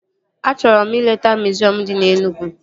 Achọrọ m ileta miziọm dị na Enugwu